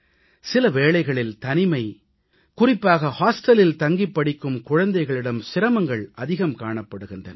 சில வேளைகளில் தனிமை குறிப்பாக விடுதிகளில் தங்கிப் படிக்கும் குழந்தைகளிடம் சிரமங்கள் அதிகம் காணப்படுகின்றன